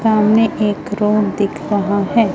सामने एक रोड दिख रहा है।